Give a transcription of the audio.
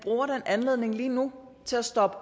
anledning lige nu til at stoppe